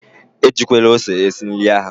E jikwele ose esi nri ahụ!